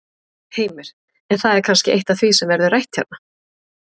Heimir: En það er kannski eitt af því sem verður rætt hérna?